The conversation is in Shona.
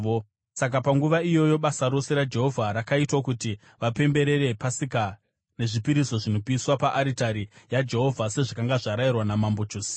Saka panguva iyoyo basa rose raJehovha rakaitwa kuti vapemberere Pasika nezvipiriso zvinopiswa paaritari yaJehovha sezvakanga zvarayirwa naMambo Josia.